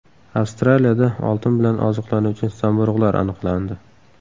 Avstraliyada oltin bilan oziqlanuvchi zamburug‘lar aniqlandi.